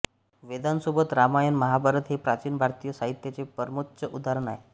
वेदांसोबत रामायण महाभारत हे प्राचीन भारतीय साहित्याचे परमोच्च उदाहरण आहे